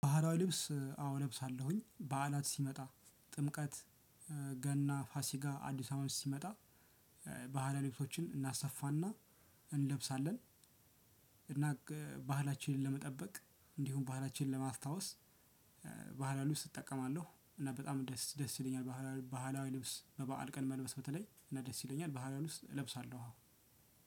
ባህላዊ ልብስ እ አዎ እለብሳለሁኝ በዓላት ሲመጣ ጥምቀት እ ገና ፋሲካ አዲስ አመት ሲመጣ ባህላዊ ልብሶችን እናሰፋና እንለብሳለን። እና እ ባህላችንን ለመጠበቅ እንዲሁም ባህላችንን ለማስታወስ ባህላዊ ልብስ እጠቀማለሁ። እና በጣም ደስ ደስ ይለኛል ባህላዊ ባህላዊ ልብስ በበዓል ቀን መልበስ በተለይ እና ደስ ይለኛል። ባህላዊ ልብስ እለብሳለሁ።